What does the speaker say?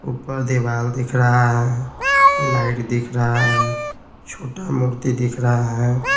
ऊपर दीवाल दिख रहा है लाइट दिख रहा है छोटा मूर्ति दिख रहा है।